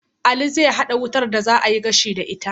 Aliyu zai hada wutar da za a yi gashi da ita